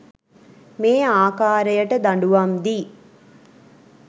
මේ ආකාරයට දඬුවම් දී